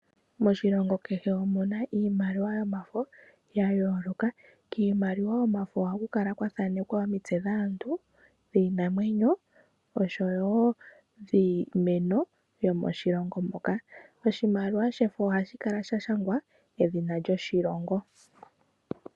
Moshilongo kehe omuna iimaliwa yomafo ya yooloka. Kiimaliwa yomafo ohaku kala kwa thaanekwa omitse dhaantu, dhiinamwenyo oshowo dhiimeno yomoshilongo moka. Oshimaliwa shefo ohashi kala sha shangwa edhina lyoshilongo.